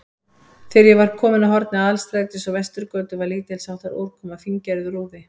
Þegar ég var kominn að horni Aðalstrætis og Vesturgötu, var lítilsháttar úrkoma, fíngerður úði.